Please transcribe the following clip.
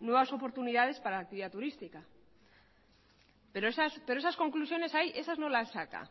nuevas oportunidades para la actividad turística pero esas conclusiones esas no las saca